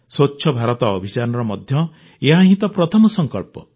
ସ୍ୱଚ୍ଛ ଭାରତ ଅଭିଯାନର ମଧ୍ୟ ଏହା ହିଁ ତ ପ୍ରଥମ ସଂକଳ୍ପ